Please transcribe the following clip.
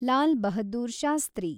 Lal Bahadur Shastri